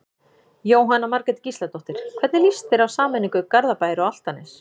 Jóhanna Margrét Gísladóttir: Hvernig lýst þér á sameiningu Garðabæjar og Álftanes?